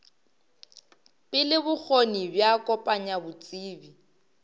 pele bokgoni bja kopanya botsebi